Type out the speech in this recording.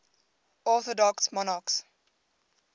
orthodox monarchs